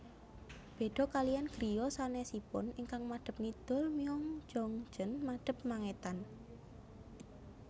Béda kaliyan griya sanesipun ingkang madep ngidul Myeongjeongjeon madep mangetan